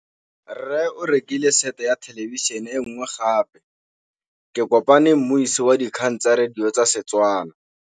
Rre o rekile sete ya thêlêbišênê e nngwe gape. Ke kopane mmuisi w dikgang tsa radio tsa Setswana.